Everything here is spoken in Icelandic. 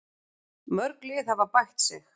Mörg lið hafa bætt sig.